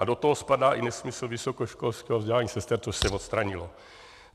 A do toho spadá i nesmysl vysokoškolského vzdělávání sester, což se odstranilo.